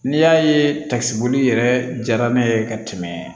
N'i y'a ye takisiboli yɛrɛ jara ne ye ka tɛmɛ